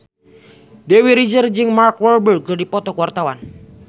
Dewi Rezer jeung Mark Walberg keur dipoto ku wartawan